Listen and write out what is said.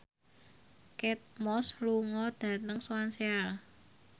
Kate Moss lunga dhateng Swansea